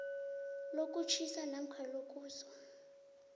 lokutjhisa namkha lokuzwa